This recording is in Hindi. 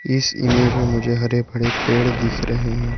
इस इमेज में मुझे हरे भरे पेड़ दिख रहे हैं।